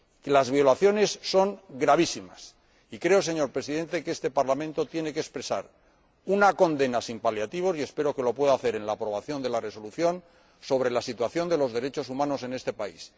Las violaciones son gravísimas y creo, señor Presidente, que este Parlamento tiene que expresar una condena sin paliativos y espero que lo pueda hacer mediante la aprobación de la correspondiente resolución sobre la situación de los derechos humanos en este país.